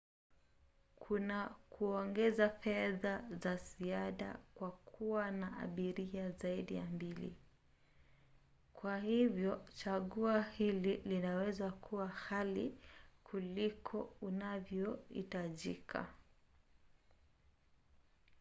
kuna kuongeza fedha za ziada kwa kuwa na abiria zaidi ya 2 kwa hivyo chaguo hili linaweza kuwa ghali kuliko inavyohitajika